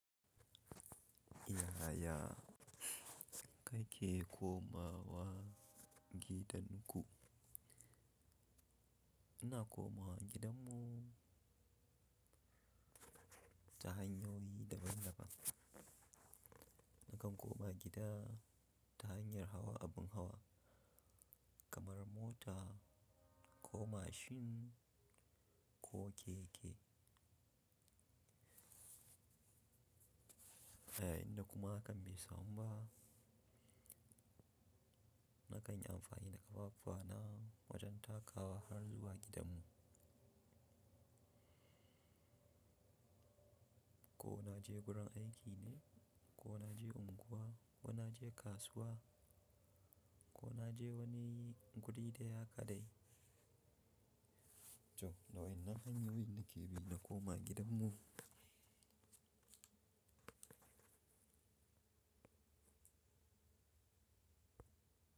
Yaya kake komawa gidan ku? Ina komawa gidanmu ta hanyoyi daban-daban. Nakan koma gida ta hanyar hawa abin hawa kamar mota ko mashin ko keke. Idan kuma kan bai samu ba, nakanyi amfani da ƙafafuna wajen takawa har zuwa gidanmu. Ko na je gurin aiki ne ko na je unguwa ko na je kasuwa ko na je wani guri da ya kaɗai. To, wanan hanyoyin nake bi na komawa gidanmu.